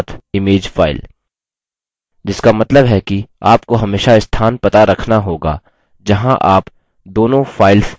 जिसका मतलब है कि आपको हमेशा स्थान पता रखना होगा जहाँ आप दोनों files संचित कर रहे हैं